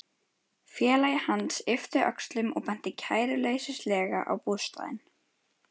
Félagi hans yppti öxlum og benti kæruleysislega á bústaðinn.